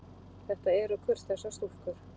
Þetta eru kurteisar stúlkur.